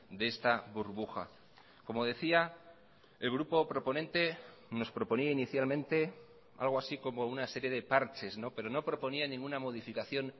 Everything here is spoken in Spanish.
de esta burbuja como decía el grupo proponente nos proponía inicialmente algo así como una serie de parches pero no proponía ninguna modificación